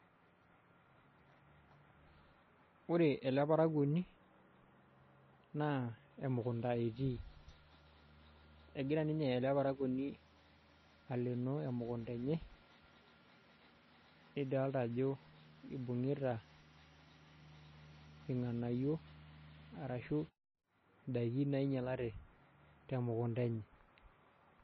Ore ele parakuoni naa emukunda etii, egira ninye ele parakuoni aleenoo emukunda enye nidolita ajo ibung'ita irng'anayio arashu indaiki nainyialate te mukunda enye.